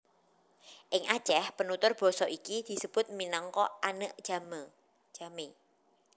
Ing Aceh penutur basa iki disebut minangka Aneuk Jamee